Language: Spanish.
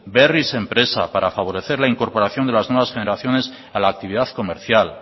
berriz enpresa para favorecer la incorporación de las nuevas generaciones a la actividad comercial